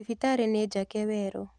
Thibitarĩnĩjake werũ.